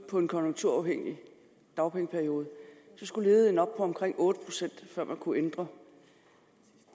på en konjunkturafhængig dagpengeperiode så skulle ledigheden op på omkring otte pct før man kunne ændre